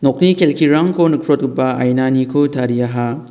nokni kelkirangko nikprotgipa ainaniko tariaha.